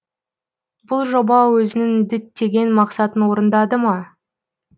бұл жоба өзінің діттеген мақсатын орындады ма